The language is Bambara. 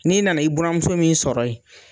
N'i nana i buranmuso min sɔrɔ yen?